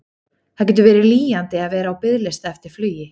Það getur verið lýjandi að vera á biðlista eftir flugi.